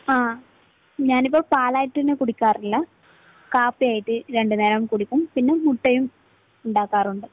ങ്ഹാ. ഞാനിപ്പോ പാലായിട്ട് തന്നെ കുടിക്കാറില്ല. കാപ്പിയായിട്ട് രണ്ടുനേരം കുടിക്കും. പിന്നെ മുട്ടയും ഉണ്ടാക്കാറുണ്ട്.